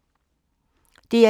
DR1